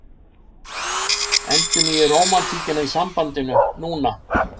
Endurnýið rómantíkina í sambandinu NÚNA!